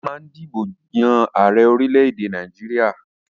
Wọ́n ma ń dìbò yàn ààrẹ orílẹ̀-èdè Nàìjíríà